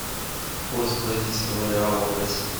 курс бразильского реала в россии